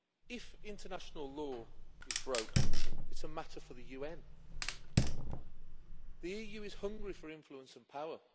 If international law is broken it is a matter for the UN. The EU is hungry for influence and power.